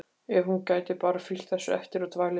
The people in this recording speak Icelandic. Ef hún gæti bara fylgt þessu eftir og dvalið í